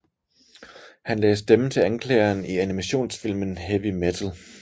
Han lagde stemme til anklageren i animationsfilmen Heavy Metal